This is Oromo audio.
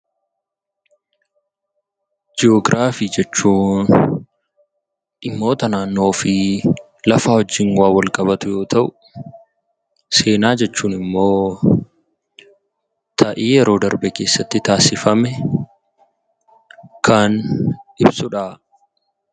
Jiyoogiraafii jechuun dhimmoota naannoo fi lafaa wajjin waan walqabatu yoo ta'u, seenaa jechuun immoo ta'ii yeroo darbe keessatti taasifame kan ibsu dha.